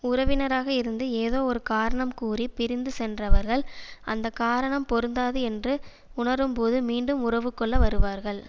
உறவினராக இருந்து ஏதோ ஒரு காரணம் கூறி பிரிந்து சென்றவர்கள் அந்த காரணம் பொருந்தாது என்று உணரும்போது மீண்டும் உறவு கொள்ள வருவார்கள்